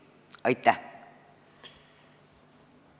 Aitäh!